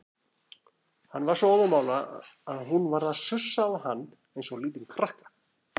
Hann var svo óðamála að hún varð að sussa á hann eins og lítinn krakka.